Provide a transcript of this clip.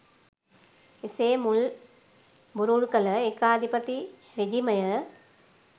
එසේ මුල් බුරුල් කළ ඒකාධිපති රෙජිමය